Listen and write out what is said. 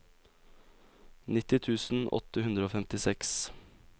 nitti tusen åtte hundre og femtiseks